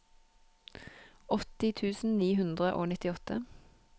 åtti tusen ni hundre og nittiåtte